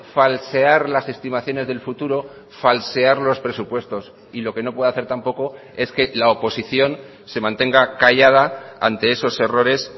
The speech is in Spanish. falsear las estimaciones del futuro falsear los presupuestos y lo que no puede hacer tampoco es que la oposición se mantenga callada ante esos errores